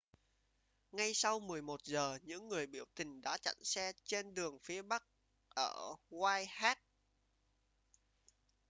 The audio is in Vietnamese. ngay sau 11 giờ những người biểu tình đã chặn xe trên đường phía bắc ở whitehall